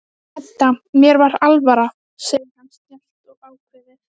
Edda, mér var alvara, segir hann snjallt og ákveðið.